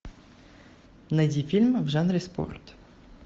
найди фильм в жанре спорт